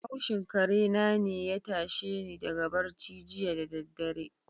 Haushin karena ne ya tashe ni daga barci jiya da daddare.